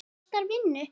Það kostar vinnu!